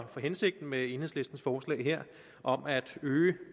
for hensigten med enhedslistens forslag her om at øge